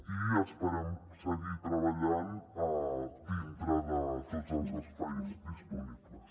i esperem seguir treballant dintre de tots els espais disponibles